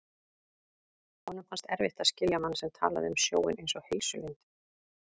Honum fannst erfitt að skilja mann sem talaði um sjóinn einsog heilsulind.